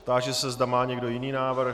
Táži se, zda má někdo jiný návrh.